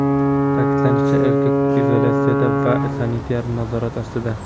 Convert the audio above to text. Ta’kidlanishicha, erkak izolyatsiyada va sanitar nazorat ostida.